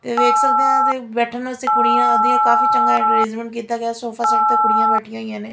ਵੇਖ ਸਕਦੇ ਆ ਬੈਠਣ ਨੂੰ ਅਸੀਂ ਕੁੜੀਆਂ ਦੀਆਂ ਕਾਫੀ ਚੰਗਾ ਅਰੇਂਜਮੈਂਟ ਕੀਤਾ ਗਿਆ ਸੋਫ -ਸੇਟ ਤੇ ਕੁੜੀਆਂ ਬੈਠੀਆਂ ਨੇ --